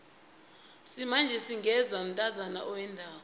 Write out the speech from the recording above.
isimanje singenwa mntazana owendako